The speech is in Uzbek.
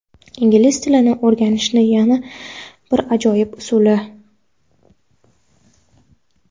Ingliz tilini o‘rganishni yana bir ajoyib usuli.